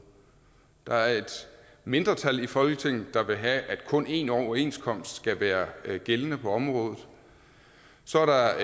der er et mindretal i folketinget der vil have at kun én overenskomst skal være gældende på området så er der